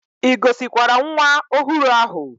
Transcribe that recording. I gosikwara nwa ohuru ahu?